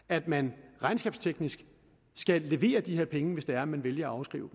at man regnskabsteknisk skal levere de her penge hvis det er man vælger at afskrive